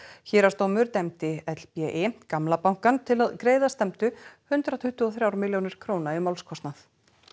héraðsdómur dæmdi gamla bankann til að greiða stefndu hundrað tuttugu og þrjár milljónir króna í málskostnað